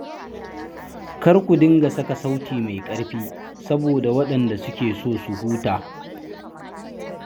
Kar ku dinga saka sauti mai ƙarfi saboda waɗanda suke so su huta.